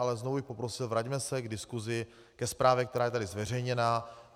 Ale znovu bych poprosil, vraťme se k diskusi, ke zprávě, která je tady zveřejněna.